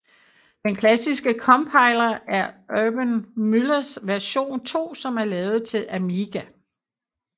Den klassiske compiler er Urban Müllers version 2 som er lavet til Amiga